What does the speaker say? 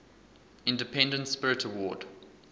independent spirit award